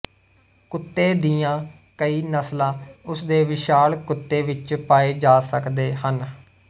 ਕੁੱਤੇ ਦੀਆਂ ਕਈ ਨਸਲਾਂ ਉਸ ਦੇ ਵਿਸ਼ਾਲ ਕੁੱਤੇ ਵਿੱਚ ਪਾਏ ਜਾ ਸਕਦੇ ਹਨ